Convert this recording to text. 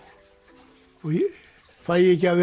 og fæ ég ekki að